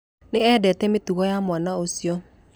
Ndiendete mĩtugo ya mwana ũcio.